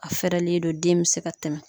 A fɛɛrɛlen do den mi se ka tɛmɛ.